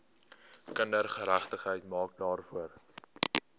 kindergeregtigheid maak daarvoor